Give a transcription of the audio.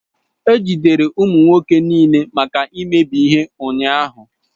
E jidere ụmụ nwoke niile maka imebi ihe ụnyahụ.